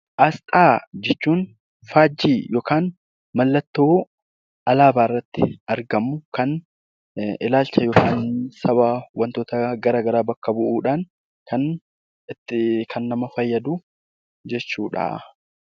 Asxaa jechuun faajjii yookiin mallattoo alaabaa irratti argamu kan ilaalcha yookaan sababa wantoota gara garaa bakka bu'uudhaan kan nama fayyadu jechuudha.